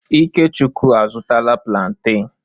Ikechukwu a zụtala plantain.